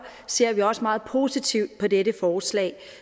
ser vi også meget positivt på dette forslag